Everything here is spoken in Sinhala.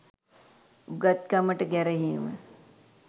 උගත්කමට ගැරහීම